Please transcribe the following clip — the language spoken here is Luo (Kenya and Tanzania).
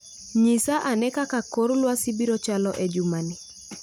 Nyisa ane kaka kor lwasi biro chalo e jumani